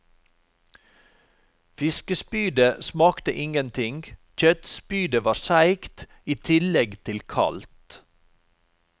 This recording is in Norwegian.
Fiskespydet smakte ingenting, kjøttspydet var seigt, i tillegg til kaldt.